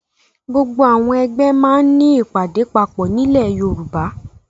Gbogbo àwọn ẹgbẹ́ máa ń ní ìpàdé papọ̀ nílẹ̀ Yorùbá.